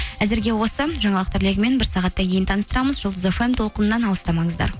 әзірге осы жаңалықтар легімен бір сағаттан кейін таныстырамыз жұлдыз фм толқынынан алыстамаңыздар